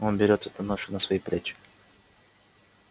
он берет эту ношу на свои плечи